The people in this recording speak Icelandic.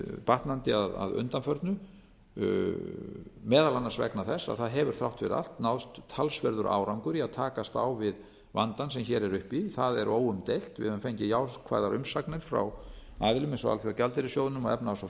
batnandi að undanförnu meðal annars vegna þess að það hefur þrátt fyrir allt náðst talsverður árangur í að takast á við vandann sem hér er uppi það er óumdeilt við höfum fengið jákvæðar umsagnir frá aðilum eins og alþjóðagjaldeyrissjóðnum og efnahags og